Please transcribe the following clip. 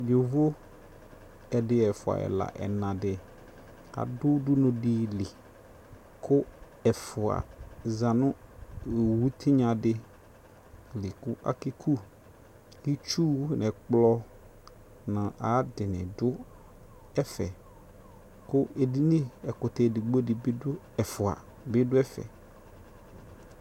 Yovo, ɛdi, ɛfua, ɛla, ɛna di adʋ udunu di li kʋ ɛfua za nʋ owu tinya di li kʋ akeku Itsu nʋ ɛkplɔ nʋ ayadini dʋ ɛfɛ kʋ edini, ɛkʋtɛ edigbo di bi dʋ ɛfua bi dʋ ɛfɛ